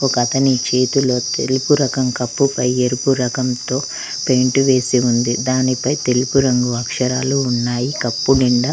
ఒకతని చేతిలో తెలుపు రకం కప్పు పై ఎరుపు రకంతో పెయింట్ వేసి ఉంది దానిపై తెలుపు రంగు అక్షరాలు ఉన్నాయి కప్పు నిండా.